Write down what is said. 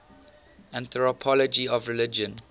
anthropology of religion